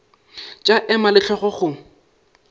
tša ema le hlogo go